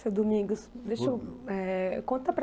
Seu Domingos, deixa eu, eh, conta para a